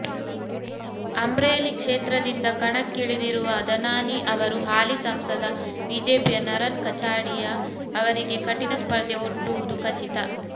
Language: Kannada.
ಅಮ್ರೇಲಿ ಕ್ಷೇತ್ರದಿಂದ ಕಣಕ್ಕಿಳಿದಿರುವ ಧನಾನಿ ಅವರು ಹಾಲಿ ಸಂಸದ ಬಿಜೆಪಿಯ ನರನ್ ಕಚಾಡಿಯಾ ಅವರಿಗೆ ಕಠಿಣ ಸ್ಪರ್ಧೆ ಒಡ್ಡುವುದು ಖಚಿತ